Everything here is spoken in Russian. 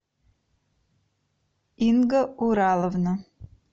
инга ураловна